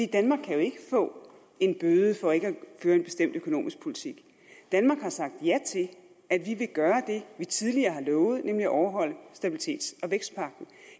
danmark kan jo ikke få en bøde for ikke at føre en bestemt økonomisk politik danmark har sagt ja til at vi vil gøre det vi tidligere har lovet nemlig at overholde stabilitets og vækstpagten